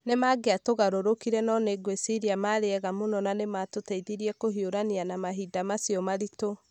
nĩ mangĩatugarurukire no nĩ ngwĩciria mari ega mũno na nĩmatũteithirie kũhiũrania na mahinda macio maritũ"